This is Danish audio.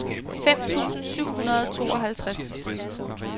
fem tusind syv hundrede og tooghalvtreds